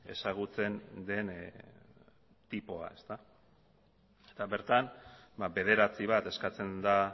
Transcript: ezagutzen den tipoa eta bertan bederatzi bat eskatzen da